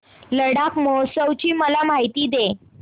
लडाख महोत्सवाची मला माहिती दे